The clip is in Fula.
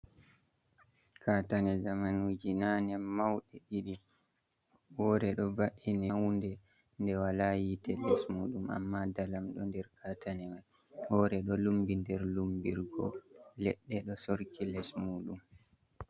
Katane zamanuji nane mauɗi ɗiɗi, wore ɗo va’ini hunde nde wala yite les muɗum amma dalam ɗo nder katanewal, wore ɗo lumbi nder lumbirgo leɗɗe ɗo sorki les muɗum.